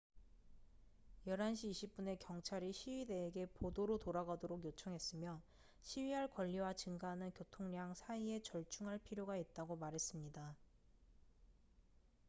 11시 20분에 경찰이 시위대에게 보도로 돌아가도록 요청했으며 시위할 권리와 증가하는 교통량 사이에 절충할 필요가 있다고 말했습니다